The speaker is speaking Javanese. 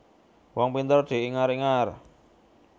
Wong pinter diingar ingar